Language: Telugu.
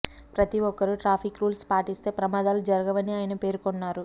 ప్రతి ఒక్కరూ ట్రాఫిక్ రూల్స్ పాటిస్తే ప్రమాదాలు జరగవని ఆయన పేర్కొన్నారు